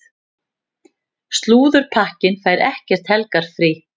Slúðurpakkinn fær ekkert helgarfrí.